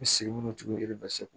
I bɛ segin minnu to e bɛ taa segu